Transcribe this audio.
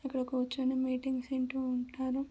ఇక్కడ ఆ కూర్చొని మీటింగ్స్ వింటూ ఉంటారు.